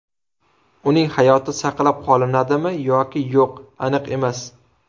Uning hayoti saqlab qolinadimi yoki yo‘q aniq emas.